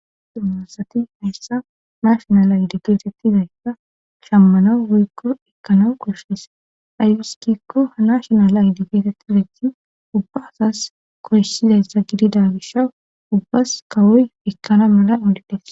dummasati hayssa mashonal aydigetettizayssa shammana woykko ekkanaw qoshes aywiskikko ha nashonal aydigeetetti bejji ubba asas koyssizayssa gidida gisha ubbas kawoy ekkana mala olida